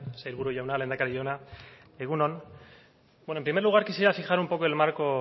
sailburu jauna lehendakari jauna egun on bueno en primer lugar quisiera fijar un poco el marco